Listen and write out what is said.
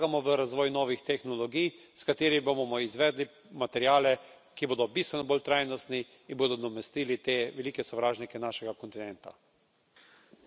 Po drugi strani pa je pomembno, da vlagamo v razvoj novih tehnologij, s katerimi bomo izvedli materiale, ki bodo bistveno bolj trajnostni in bodo nadomestili te velike sovražnike našega kontinenta.